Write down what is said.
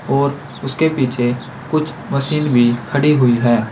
और उसके पीछे कुछ मशीन भी खड़ी हुई है।